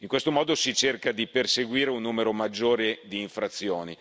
In questo modo si cerca di perseguire un numero maggiore di infrazioni.